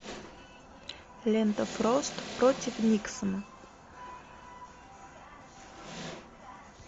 лента фрост против никсона